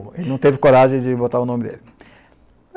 Ele não teve coragem de de botar o nome dele.